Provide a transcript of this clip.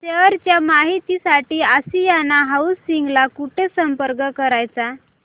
share च्या माहिती साठी आशियाना हाऊसिंग ला कुठे संपर्क करायचा